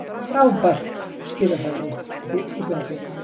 Frábært skíðafæri í Bláfjöllum